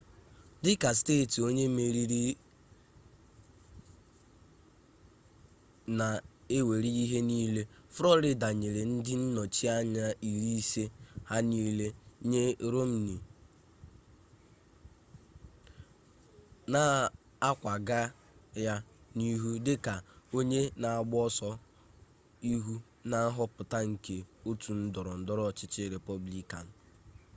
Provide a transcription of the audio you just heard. dịka steeti onye meriri-na-ewere ihe niile florida nyere ndị nnọchi anya iri ise ha niile nye romney na-akwaga ya n'ihu dị ka onye na-agba oso ihu na nhọpụta nke otu ndọrọ ndọrọ ọchịchị republican